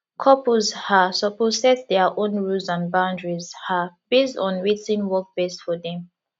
couples um suppose set dia own rules and boundaries um base on wetin work best for dem um